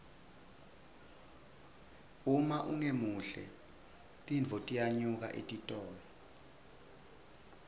uma ungemuhle tintfo tiyanyuka etitolo